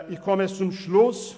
Ich komme zum Schluss: